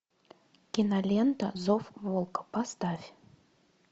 кинолента зов волка поставь